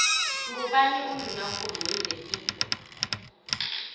ngubani unduna kulu wezepilo